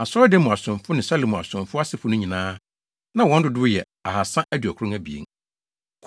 Asɔredan mu asomfo ne Salomo asomfo asefo no nyinaa, na wɔn dodow yɛ 2 392